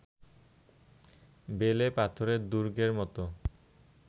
বেলে পাথরের দুর্গের মতো